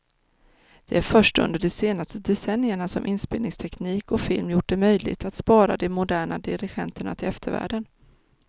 Det är först under de senaste decennierna som inspelningsteknik och film gjort det möjligt att spara de moderna dirigenterna till eftervärlden.